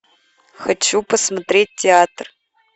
хочу посмотреть театр